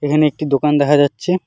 এখানে একটি দোকান দেখা যাচ্ছে।